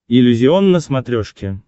иллюзион на смотрешке